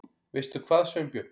Veistu hvað, Sveinbjörn?